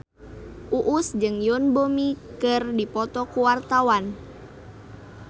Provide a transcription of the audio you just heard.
Uus jeung Yoon Bomi keur dipoto ku wartawan